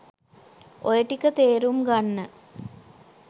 ඔය ටික තේරුම් ගන්න